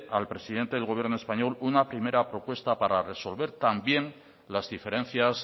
al presidente del gobierno español una primera propuesta para resolver también las diferencias